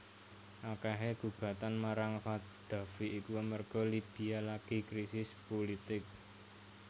Akehe gugatan marang Qaddafi iku amarga Libya lagi krisis pulitik